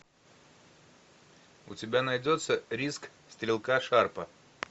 у тебя найдется риск стрелка шарпа